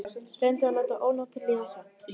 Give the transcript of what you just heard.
Reyndi að láta ónotin líða hjá.